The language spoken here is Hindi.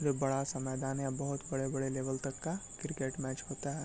और बड़ा सा मैदान है बहुत बड़े-बड़े लेवल तक का क्रिकेट मैच होता है।